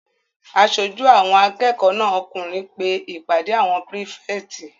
Aṣojú àwọn akẹ́kọ̀ọ́ náà okùnrin pe ìpàdé àwọn pírífẹ̀tì